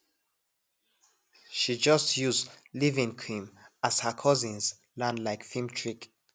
she just use leavein cream as her cousins land like film trick